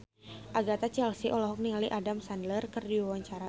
Agatha Chelsea olohok ningali Adam Sandler keur diwawancara